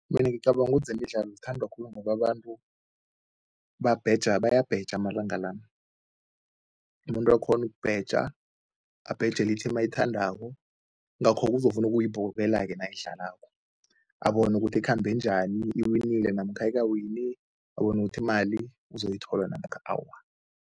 Mina ngicabanga ukuthi zemidlalo zithandwa khulu ngoba abantu bayabheja amalanga la. Umuntu akghone ukubheja, abhejele i-team, yingakho-ke uzokufuna ukuyibukela-ke nayidlalako, abone ukuthi ikhambe njani, iwinile namkha ayikawini, abone ukuthi imali uzoyithola namkha awa.